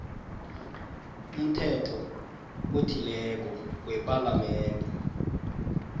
umthetho othileko wepalamende